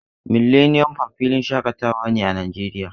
Millennium park filin shaƙatawa ne a Najeriya.